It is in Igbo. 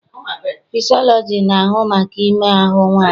Fịsịọlọji na-ahụ maka ime ahụ mmadụ.